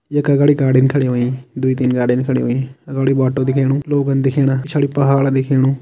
यक अगाड़ी गाडीन खड़ी होइं द्वी-तीन गाड़ीन खडी हुई अगाड़ी बोटो दिखेणु लोगन दिखेणा पिछाड़ी पहाड़ दिखेणु।